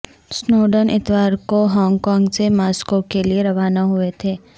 Snowden اتوار کو Hong Kong سے ماسکو کے لیے روانہ ہوئے تھے